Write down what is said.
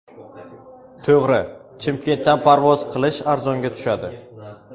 To‘g‘ri, Chimkentdan parvoz qilish arzonga tushadi.